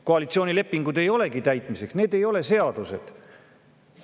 Koalitsioonilepingud ei olegi täitmiseks, need ei ole seadused.